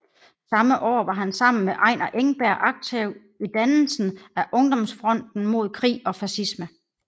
Samme år var han sammen med Einar Engberg aktiv i dannelsen af Ungdomsfronten mod krig og Fascisme